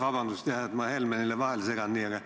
Vabandust, et ma Helmenile niimoodi vahele segan!